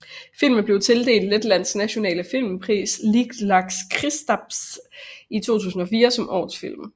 Filmen blev tildelt Letlands nationale filmpris Lielais Kristaps i 2004 som årets film